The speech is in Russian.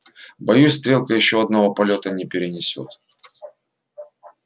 боюсь стрелка ещё одного полёта не перенесёт